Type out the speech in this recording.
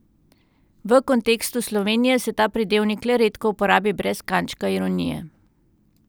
V kontekstu Slovenije se ta pridevnik le redko uporabi brez kančka ironije.